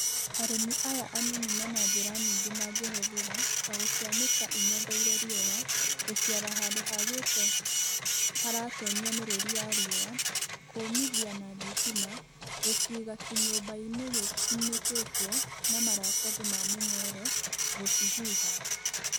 Arĩmi aya anini mena njĩra nyingĩ mangĩhũthĩra ta gũcianĩka ing'etheire riũa, gũciara handũ hagite haratonyia mĩrũri ya riũa, kũmithia na thitima, gũciga kĩnyũmba-inĩ gĩkunĩkĩtwo na maratathi ma mũnyore, gũcihuha